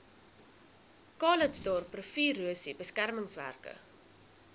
calitzdorp riviererosie beskermingswerke